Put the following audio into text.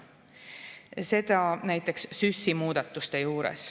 Seda näiteks SÜS‑i muudatuste juures.